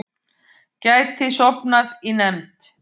Gæti sofnað í nefnd